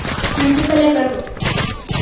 ಮೆಂತಿ ಪಲ್ಯಾ ಕಡಬು.